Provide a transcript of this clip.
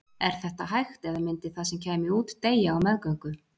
er þetta hægt eða myndi það sem kæmi út deyja á meðgöngu